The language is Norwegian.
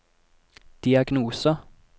diagnose